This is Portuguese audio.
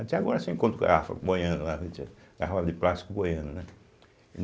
Até agora se encontra garrafa boiando lá no Tiê garrafa de plástico boiando, né.